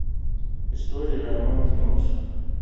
история аманды нокс